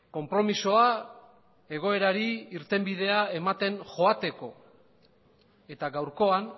konpromisoa egoerari irtenbidea ematen joateko eta gaurkoan